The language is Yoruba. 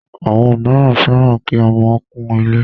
Àwọn míràn fẹ́ràn kí ọmọ kún ilé.